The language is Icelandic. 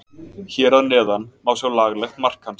Hér að neðan má sjá laglegt mark hans.